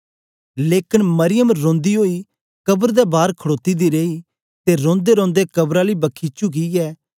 लेकन मरियम रौंदी ओई कब्र दे बार खडोती दी रेई ते रोंदेरोंदे कब्र आली बखी चुकियै